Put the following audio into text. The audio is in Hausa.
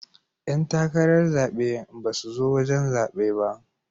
Yan takarar zabe ba su zo wajen zaɓe ba.